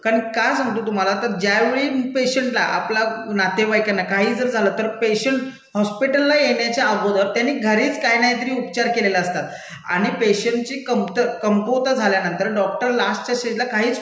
कारण का सांगतो तुम्हाला, तर ज्यावेळी पेशंटला, आपला नातेवाईकांना काहीही जर झालं तर पेशंट हॉस्पिटलला येण्याच्या अगोदर त्यानी घरीच काहीनाहीतरी उपचार केलेले असतात आणि पेशंटची क्म्त, कमकुवता झाल्यानंतर डॉक्टर लास्टच्या स्टेजला काहीच